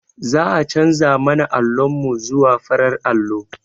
Za'a canza mana allon mu zuwa farar allo.